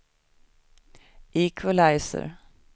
equalizer